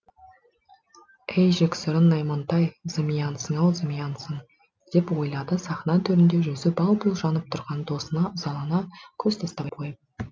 әй жексұрын наймантай зымиянсың ау зымиянсың деп ойлады сахна төрінде жүзі бал бұл жанып тұрған досына ызалана көз тастап қойып